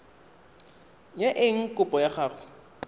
ya eng kopo ya gago